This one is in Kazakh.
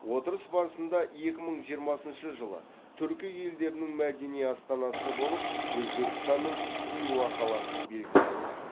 отырыс барысында екі мың жиырмасыншы жылы түркі елдерінің мәдени астанасы болып өзбекстанның хиуа қаласы белгіленді